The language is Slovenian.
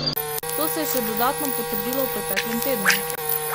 To se je še dodatno potrdilo v preteklem tednu.